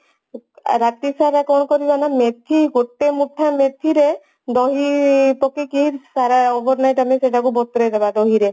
ରାତିଶାର କଣ କରିବା ନା ମେଥି ଗୋଟେ ମୁଠା ମେଥି ରେ ଦହି ପକେଇକି ସାରା overnight ଆମେ ସେଟାକୁ ବତୁରେଇ ଦେବା ଦହିରେ